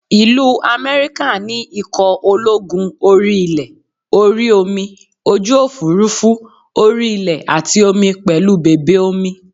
Ìlú America ní ikọ̀ ológun orí ilẹ̀, orí omi, ojú òfuurufú, orí ilẹ̀ àti omi pẹ̀lú bèbè omi